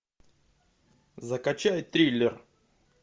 закачай триллер